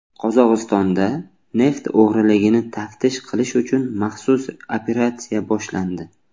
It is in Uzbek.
Qozog‘istonda neft o‘g‘riligini taftish qilish uchun maxsus operatsiya boshlandi.